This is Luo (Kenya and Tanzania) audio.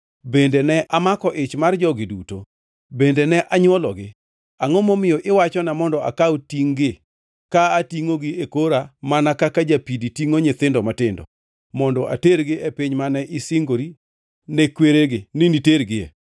Bende ne amako ich mar jogi duto? Bende ne anywologi? Angʼo momiyo iwachona mondo akaw tingʼ-gi ka atingʼogi e kora mana kaka japidi tingʼo nyithindo matindo, mondo atergi e piny mane isingori ne kweregi ni nitergie.